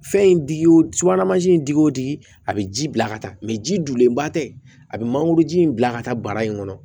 Fɛn in digi wo subahana mansi in digi o digi a bɛ ji bila ka taa mɛ jilenba tɛ a bɛ mangoro ji in bila ka taa bara in kɔnɔ